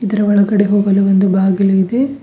ಇದ್ರ ಒಳಗಡೆ ಹೋಗಲು ಒಂದು ಬಾಗಿಲು ಇದೆ.